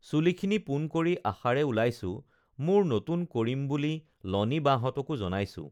চুলি খিনি পোন কৰি আশাৰে ওলাইছো মোৰ নতুন কৰিম বুলি লনি বাহতঁকো জনাইছো